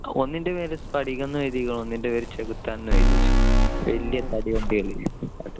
ഒന്നിന്റെ പേര് സ്‌ഫടികം എന്ന് എഴുതിയെകുന്നെ ഒന്നിന്റെ പേര് ചെകുത്താനും . വലിയ തടി വണ്ടികൾ ഇല്ലേ അത്